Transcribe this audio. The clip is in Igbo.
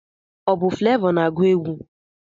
Ọ bụ flevọ na-na-agụ egwụ?